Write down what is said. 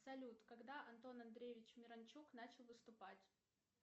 салют когда антон андреевич миранчук начал выступать